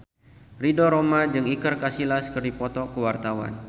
Ridho Roma jeung Iker Casillas keur dipoto ku wartawan